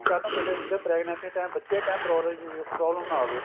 B ਕੱਲ ਨੂੰ ਪਹਿਲਾਂ ਇਹ ਚੀਜ਼ਾਂ pregnancy ਦੇ time ਬੱਚੇ ਦੇ time problem problem ਨਾ ਆਵੇ